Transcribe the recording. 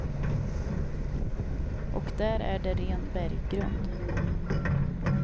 Och där är det ren berggrund.